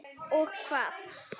Og hvað?